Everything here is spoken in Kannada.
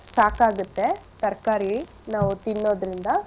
ಸಾಕಾಗತ್ತೆ ತರ್ಕಾರಿ ನಾವು ತಿನ್ನೋದ್ರಿಂದ.